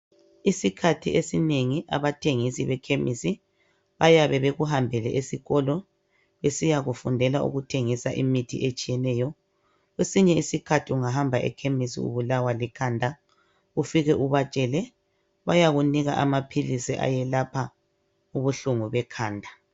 Isikhathi esinengi abathengisi bekhemisi, bayabe bekuhambele esikolo besiya kufundela ukuthengisa imithi etshiyeneyo. Kwesinye isikhathi ungahamba ekhemisi ubulawa likhanda ufike ubatshele bayakunika amaphilisi ayelapha ubuhlungu bekhanda.